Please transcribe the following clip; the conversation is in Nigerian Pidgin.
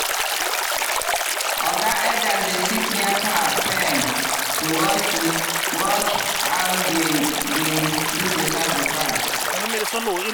oga elders dey sit near cow pen to watch to watch how dem dey do the sacrifice.